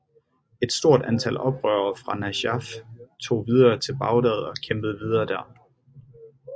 Et stort antal oprørere fra Najaf tog videre til Bagdad og kæmpede videre der